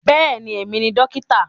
Bẹ́ẹ̀ni, èmi ni dókítà